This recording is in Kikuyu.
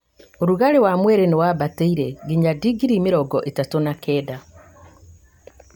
ũrugarĩ wa mwĩrĩ nĩwambatĩire nginyagia ndingri mĩrongo ĩtatũ na kenda